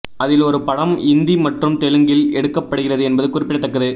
அதில் ஒரு படம் இந்தி மற்றும் தெலுங்கில் எடுக்கப்படுகிறது என்பது குறிப்பிடத்தக்கது